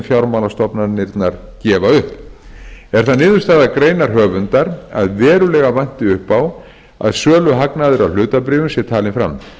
fjármálastofnanirnar gefa upp er það niðurstaða greinarhöfundar að verulega vanti upp á að söluhagnaður af hlutabréfum sé talinn fram